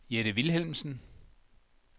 Jette Vilhelmsen